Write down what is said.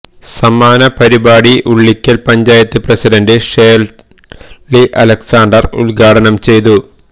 സമാപന പരിപാടി ഉളിക്കല് പഞ്ചായത്ത് പ്രസിഡന്റ് ഷേര്ളി അലക്സാണ്ടര് ഉദ്ഘാടനം ചെയ്തു